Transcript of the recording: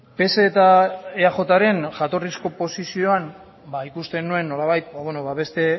pse eta eajren jatorrizko oposizioan ikusten nuen nolabait beste